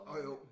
Åh jo